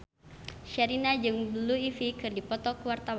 Sherina jeung Blue Ivy keur dipoto ku wartawan